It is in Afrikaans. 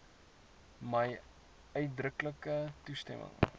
my uitdruklike toestemming